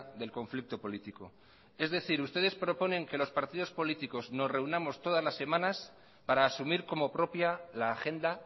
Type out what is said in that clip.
del conflicto político es decir ustedes proponen que los partidos políticos nos reunamos todas las semanas para asumir como propia la agenda